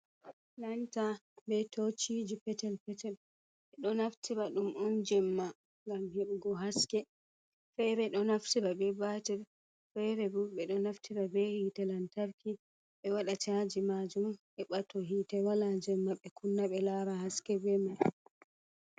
Lanta be tociji petel petel, ɓe ɗo naftira ɗum un jemma gam heɓugo haske fere do naftira be batel fere bo ɓeɗo naftira be hitte lantarki ɓe wada caji majum heɓa to hite wala jemma ɓe kunna ɓe lara haske be mai.